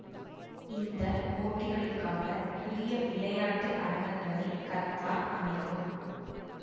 இந்த போட்டிகளுக்காக புதிய விளையாட்டு அரங்கங்களை கத்தார் அமைக்கும்